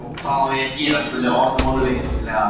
Hvað á ég að gera? spurði Örn vonleysislega.